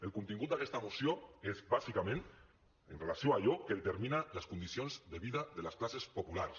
el contingut d’aquesta moció és bàsicament amb relació a allò que determina les condicions de vida de les classes populars